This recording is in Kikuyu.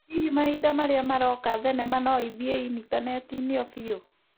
Hĩhĩ mahinda marĩa maroka, thenema no ithĩĩ initaneti-inĩ o biũ?